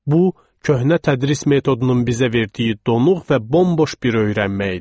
Bu köhnə tədris metodunun bizə verdiyi donuq və bomboş bir öyrənmə idi.